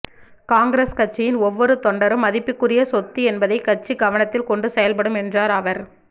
காங்கிரஸ் கட்சியின் ஒவ்வொரு தொண்டரும் மதிப்புக்குரிய சொத்து என்பதை கட்சி கவனத்தில் கொண்டு செயல்படும் என்றார் அவர்